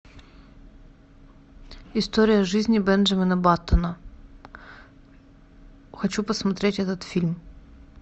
история жизни бенджамина баттона хочу посмотреть этот фильм